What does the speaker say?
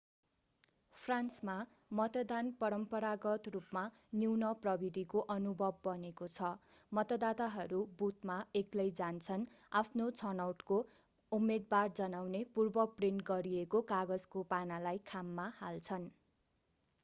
फ्रान्समा मतदान परम्परागत रूपमा न्यून-प्रविधिको अनुभव बनेको छ मतदाताहरू बुथमा एक्लै जान्छन् आफ्नो छनौटको उम्मेदवार जनाउने पूर्व-प्रिन्ट गरिएको कागजको पानालाई खाममा हाल्छन्